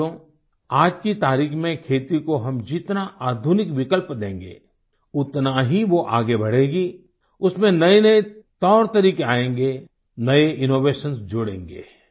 साथियो आज की तारीख में खेती को हम जितना आधुनिक विकल्प देंगे उतना ही वो आगे बढ़ेगी उसमें नयेनये तौरतरीके आयेंगे नये इनोवेशंस जुड़ेंगे